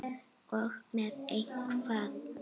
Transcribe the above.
Og með hvað?